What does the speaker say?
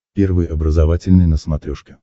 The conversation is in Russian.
первый образовательный на смотрешке